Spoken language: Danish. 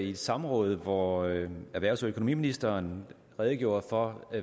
i et samråd hvor økonomi og erhvervsministeren redegjorde for